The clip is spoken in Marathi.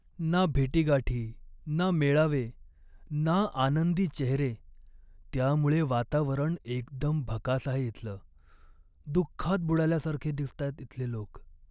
ना भेटीगाठी, ना मेळावे, ना आनंदी चेहरे, त्यामुळे वातावरण एकदम भकास आहे इथलं. दुःखात बुडाल्यासारखे दिसतायत इथले लोक.